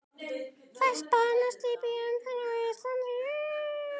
Fæst banaslys í umferð á Íslandi